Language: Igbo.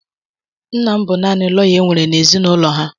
Nna m naanị lọya e nwere n'ezinụlọ ha.